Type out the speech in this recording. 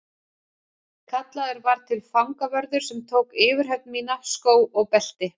Kallaður var til fangavörður sem tók yfirhöfn mína, skó og belti.